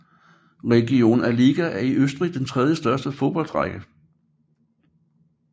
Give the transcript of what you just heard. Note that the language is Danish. Regionalliga er i Østrig den tredjebedste fodboldrække